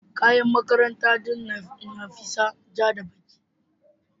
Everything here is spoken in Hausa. kayan makaranta din Nafisat ja da ɓaki.